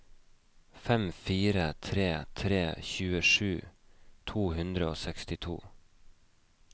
fem fire tre tre tjuesju to hundre og sekstito